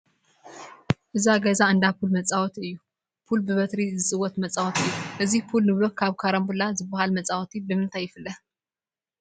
እዚ ገዛ እንዳ ፑል መፃወቲ እዩ፡፡ ፑል ብበትሪ ዝፅወት መፃወቲ እዩ፡፡ እዚ ፑል ንብሎ ካብ ካራንቡላ ዝበሃል መፃወቲ ብምንታይ ይፍለ?